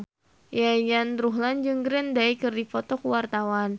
Yayan Ruhlan jeung Green Day keur dipoto ku wartawan